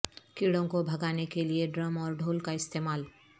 کیڑوں کو بھاگنے کے لئے ڈرم اور ڈھول کا استعمال